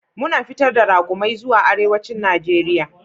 Muna fitar da raƙumai zuwa arewacin Najeriya.